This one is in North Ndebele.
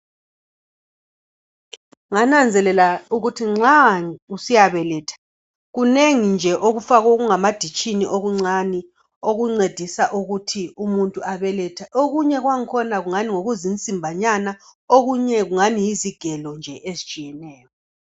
Ngananzelela ukuthi nxa usiyabeletha kunengi nje okufakwe ezitsheni ezincane okuncedisa umuntu ukuthi abalethe. Okunye kwakhona ngokuzinsimbi okuncane lezigelo ezitshiyeneyo.